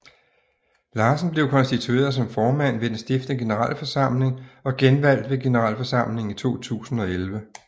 Larsen blev konstitueret som formand ved den stiftende generalforsamling og genvalgt ved generalforsamlingen i 2011